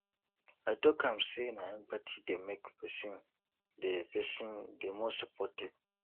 i tok am sey na empathy dey make pesin dey pesin dey more supportive